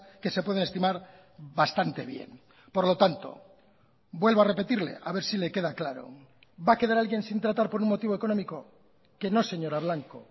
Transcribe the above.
que se pueden estimar bastante bien por lo tanto vuelvo a repetirle a ver si le queda claro va a quedar alguien sin tratar por un motivo económico que no señora blanco